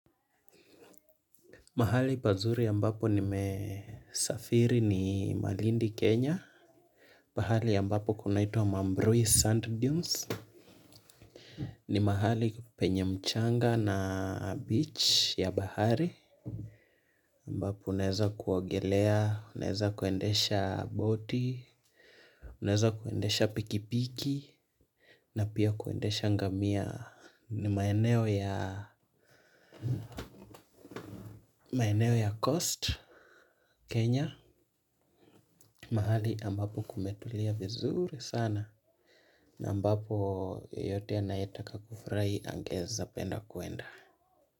Mahali pazuri ambapo nimesafiri ni Malindi, Kenya. Mahali ambapo kunaitwa mamrui sand dunes. Ni mahali penye mchanga na beach ya bahari. Ambapo unaeza kuogelea, unaeza kuendesha boti, unaeza kuendesha pikipiki, na pia kuendesha ngamia ni maeneo ya coast Kenya. Kenya, mahali ambapo kumetulia vizuri sana na ambapo yoyote anayetaka kufurahi angeeza penda kuenda.